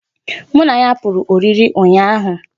Mụ na ya pụrụ ọrịrị ụnyaahụ